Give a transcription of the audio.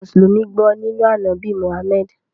Àwọn Musulumi gbọ̀ nínu Anábì Mohammed.